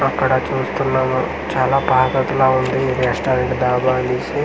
అక్కడ చూస్తున్నాము చాలా పాతది లా ఉంది ఈ రెస్టారెంటు డాబా అనేసి.